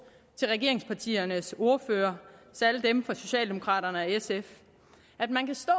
til regeringspartiernes ordførere særlig dem fra socialdemokraterne og sf at man kan stå